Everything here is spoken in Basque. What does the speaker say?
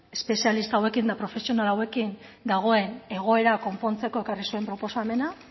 espezialista hauekin eta profesional hauekin dagoen egoera konpontzeko ekarri zuen proposamena